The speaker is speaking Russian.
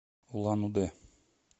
улан удэ